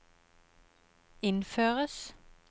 innføres